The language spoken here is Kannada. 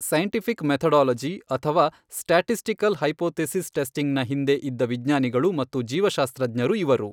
ಸೈಂಟಿಫಿಕ್ ಮೆಥೊಡೊಲೊಜಿ ಅಥವಾ ಸ್ಟ್ಯಾಟಿಸ್ಟಿಕಲ್ ಹೈಪೊಥೆಸಿಸ್ ಟೆಸ್ಟಿಂಗ್ ನ ಹಿಂದೆ ಇದ್ದ ವಿಜ್ಞಾನಿಗಳು ಮತ್ತು ಜೀವಶಾಸ್ತ್ರಜ್ಞರು ಇವರು.